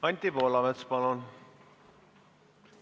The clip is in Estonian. Anti Poolamets, palun!